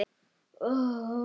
Þetta kom mér í uppnám